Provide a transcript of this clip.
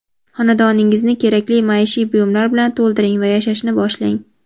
Xonadoningizni kerakli maishiy buyumlar bilan to‘ldiring va yashashni boshlang!.